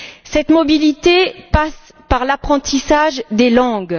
Cette mobilité passe par l'apprentissage des langues.